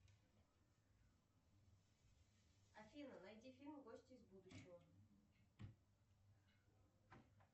афина найди фильм гости из будущего